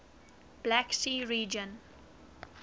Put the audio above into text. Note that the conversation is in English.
black sea region